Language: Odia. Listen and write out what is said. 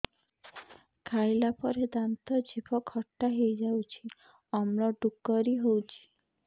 ଖାଇଲା ପରେ ଦାନ୍ତ ଜିଭ ଖଟା ହେଇଯାଉଛି ଅମ୍ଳ ଡ଼ୁକରି ହଉଛି